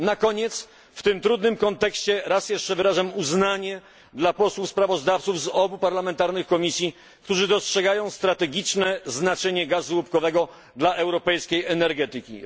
Na koniec w tym trudnym kontekście raz jeszcze wyrażam uznanie dla posłów sprawozdawców z obu parlamentarnych komisji, którzy dostrzegają strategiczne znaczenie gazu łupkowego dla europejskiej energetyki.